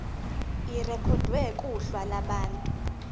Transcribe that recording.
irekhodwe kuhla lwabantu